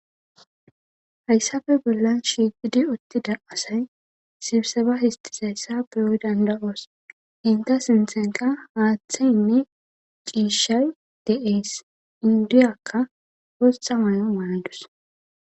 hayssafe bollan shiigidi uttida asay sibiseba histizayisa beyo danida'os henta sintheniqa haaththeynne ciishay de'ees indiyakka botha mayo mayadus